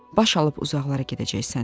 Baş alıb uzaqlara gedəcəksən.